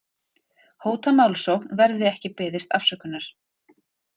Hóta málsókn verði ekki beðist afsökunar